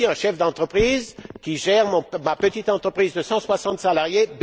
suis aussi un chef d'entreprise qui gère bénévolement ma petite entreprise de 160 salariés.